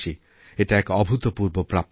এটা এক অভূতপূর্ব প্রাপ্তি